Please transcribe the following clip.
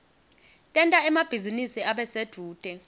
tenta emabhizinisi abe sedvute